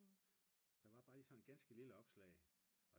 der var bare lige sådan et ganske lille opslag